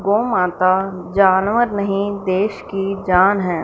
गौ माता जानवर नहीं देश की जान हैं।